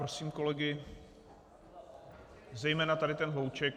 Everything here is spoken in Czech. Prosím kolegy, zejména tady ten hlouček.